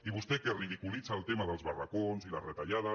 i vostè que ridiculitza el tema dels barracons i les retallades